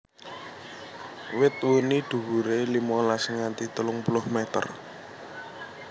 Wit wuni dhuwuré limolas nganti telung puluh meter